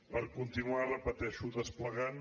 per continuar ho repeteixo desplegant